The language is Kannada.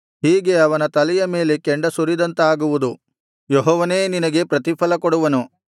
ಹೀಗೆ ಅವನ ತಲೆಯ ಮೇಲೆ ಕೆಂಡ ಸುರಿದಂತಾಗುವುದು ಯೆಹೋವನೇ ನಿನಗೆ ಪ್ರತಿಫಲಕೊಡುವನು